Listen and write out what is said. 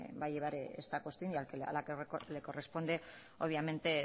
va a llevar esta cuestión y a la que le corresponde obviamente